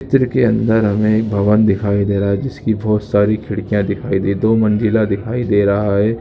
Picture के अंदर हमें एक भवन दिखाई दे रहा है जिसकी बहुत सारी खिड़किया दिखाई दे दो मंजिला दिखाई दे रहा है।